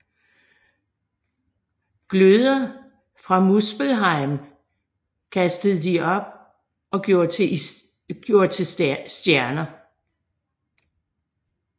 Gløder fra Muspelheim kastede de op og gjorde til stjerner